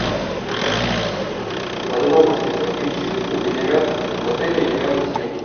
подробности про химчистку в отеле или рядом с ним